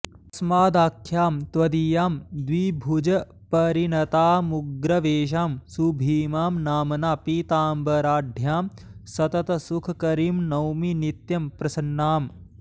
तस्मादाख्यां त्वदीयां द्विभुजपरिणतामुग्रवेषां सुभीमां नाम्ना पीताम्बराढ्यां सततसुखकरीं नौमि नित्यं प्रसन्नाम्